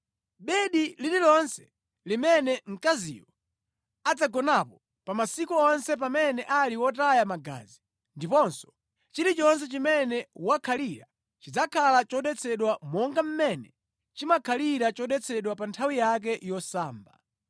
Bedi lililonse limene mkaziyo adzagonapo pa masiku onse pamene ali wotaya magazi, ndiponso chilichonse chimene wakhalira chidzakhala chodetsedwa monga mmene chimakhalira chodetsedwa pa nthawi yake yosamba.